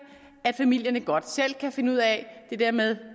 at familierne godt selv kan finde ud af det der med